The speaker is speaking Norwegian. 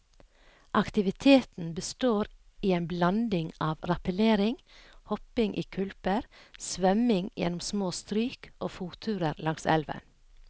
Aktiviteten består i en blanding av rappellering, hopping i kulper, svømming gjennom små stryk og fotturer langs elven.